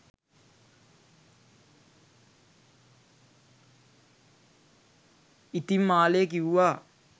ඉතිං මාලේ කිවුවා